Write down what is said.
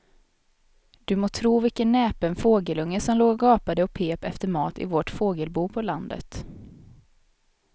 Du må tro vilken näpen fågelunge som låg och gapade och pep efter mat i vårt fågelbo på landet.